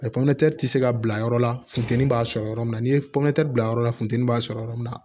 tɛ se ka bila yɔrɔ la funteni b'a sɔrɔ yɔrɔ min na ni ye pɔme bila yɔrɔ min na funteni b'a sɔrɔ yɔrɔ min na